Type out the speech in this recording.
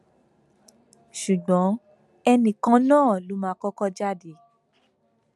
ṣùgbọn ẹnì kan náà ló mà kọkọ jáde